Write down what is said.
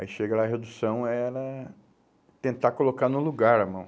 Aí chega lá a redução, era tentar colocar no lugar a mão.